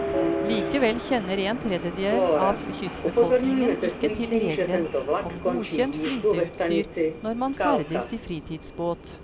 Likevel kjenner en tredjedel av kystbefolkningen ikke til regelen om godkjent flyteutstyr når man ferdes i fritidsbåt.